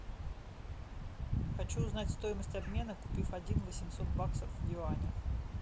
хочу узнать стоимость обмена купив один восемьсот баксов в юанях